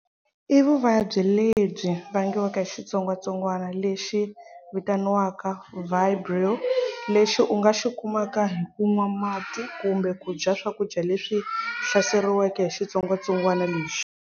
I vuvabyi lebyi vangiwaka hi xitsongwatsongwana Lexi vitaniwaka vibrio lexi ungaxi kumaka hiku nwa mati kumbe kudya swakudya leswi hlaseriweke hi xitsongwatsongwana lexi.